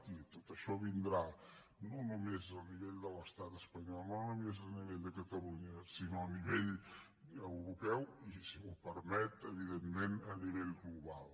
i tot això vindrà no només a nivell de l’estat espanyol no només a nivell de catalunya sinó a nivell europeu i si m’ho permet evidentment a nivell global